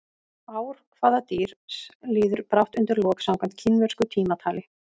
Ár hvaða dýrs líður brátt undir lok samkvæmt kínversku tímatali?